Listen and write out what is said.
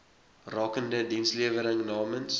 rakende dienslewering namens